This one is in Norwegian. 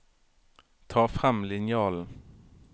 Ta frem linjalen